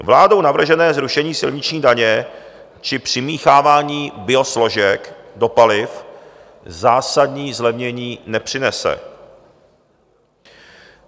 Vládou navržené zrušení silniční daně či přimíchávání biosložek do paliv zásadní zlevnění nepřinese.